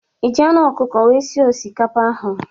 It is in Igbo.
Iji anụ ọkukọ wee sie osikapa ahụ?